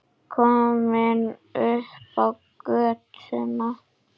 Komin upp á götuna.